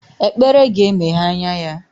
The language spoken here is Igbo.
Ekpere ga-emeghe anya ya